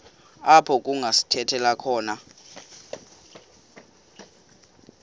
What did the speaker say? apho kungasithela khona